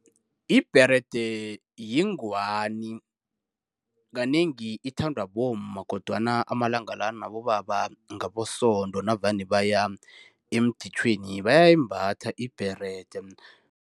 Ibherede yingwani. Kanengi ithandwa bomma. Kodwana amalanga la nabobaba ngaboSonto, navane baya emditjhweweni bayayimbatha ibherede.